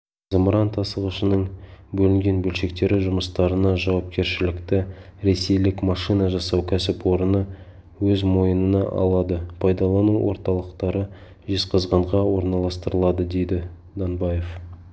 зымыран тасығышының бөлінген бөлшектері жұмыстарына жауапкершілікті ресейлік машина жасау кәсіпорыны өз мойнына алады пайдалану орталықтары жезқазғанға орналастырылады дейді данбаев